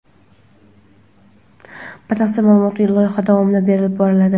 batafsil ma’lumot loyiha davomida berib boriladi.